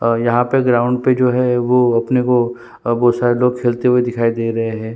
और यहाँ पे ग्राउंड पे जो है वो अपने को बहोत सारे लोग खेलते हुए दिखाई दे रहे है।